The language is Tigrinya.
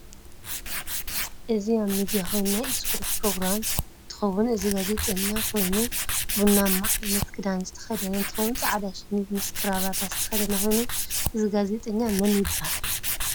እዚ ምድያ ኮይኑ ናይ እስፖርት ብሮግራም እንትከውን እዚ ጋዘጠኛ ኮይኑ ቡናማ ዓይነት ክዳን ዝተከደ እንትከውን ፃዕዳ ሸሚዝ ምስ ከራባታ ዝተከደነ ኮይኑ እዙ ጋዘጠኛ መን ይብሃል?